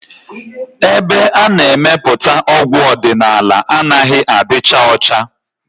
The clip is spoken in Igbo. Ebe ana-emepụta ọgwụ ọdịnala anaghị adịcha ọcha